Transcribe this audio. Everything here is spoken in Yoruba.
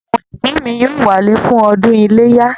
Àwọn ẹ̀gbọ́n mi yóò wálé fún ọdún iléyá